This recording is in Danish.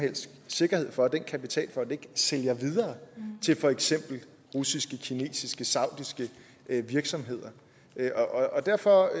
helst sikkerhed for at den kapitalfond ikke sælger videre til for eksempel russiske kinesiske eller saudiske virksomheder og derfor